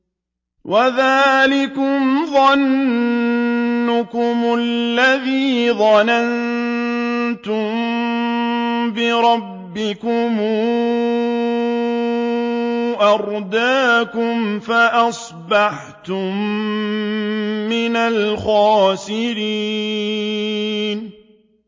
وَذَٰلِكُمْ ظَنُّكُمُ الَّذِي ظَنَنتُم بِرَبِّكُمْ أَرْدَاكُمْ فَأَصْبَحْتُم مِّنَ الْخَاسِرِينَ